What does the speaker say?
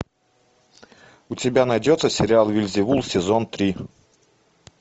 у тебя найдется сериал вельзевул сезон три